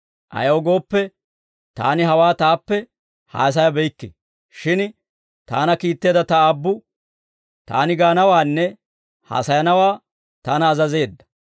Ayaw gooppe, Taani hawaa Taappe haasayabeykke; shin Taana kiitteedda Ta Aabbu Taani gaanawaanne haasayanawaa Taana azazeedda.